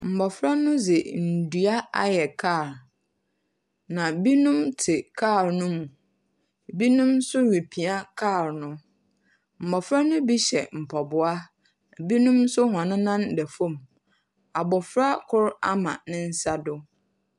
Mmɔfra no dze ndua ayɛ kaa, na binom tse kaa no mu. Binom nso repia kaa no. mmɔfra no bi hyɛ mpaboa. Binom nso hɔn nan da fam. Abɔfra kor ama ne nsa do.